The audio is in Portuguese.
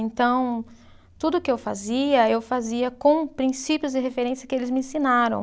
Então, tudo que eu fazia, eu fazia com princípios de referência que eles me ensinaram.